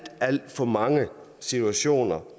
alt for mange situationer